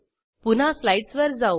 पुन्हा स्लाईडसवर जाऊ